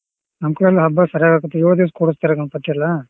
ನಮ್ಮ್ ಕಡೆ ಎಲ್ಲ ಹಬ್ಬ ಸರಿಯಾಗ್ ಆಕೆತ್ತಿ ಯೋಳ್ ದೀವ್ಸ ಕುರಸ್ತಾರ ಗಣ್ಪತಿ ಎಲ್ಲಾ.